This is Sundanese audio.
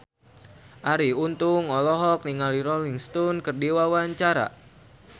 Arie Untung olohok ningali Rolling Stone keur diwawancara